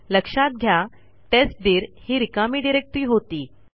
लक्षात घ्या टेस्टदीर ही रिकामी डिरेक्टरी होती